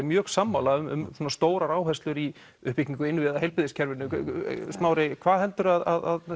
mjög sammála um stórar áherslur í uppbyggingu innviða heilbrigðiskerfinu smári hvað heldur þú að